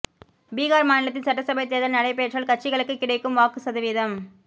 பீகார் மாநிலத்தில் சட்டசபை தேர்தல் நடைபெற்றால் கட்சிகளுக்கு கிடைக்கும் வாக்கு சதவீதம்